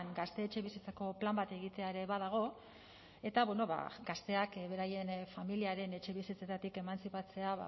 gazte etxebizitzako plan bat egitea ere badago eta gazteak beraien familiaren etxebizitzetatik emantzipatzea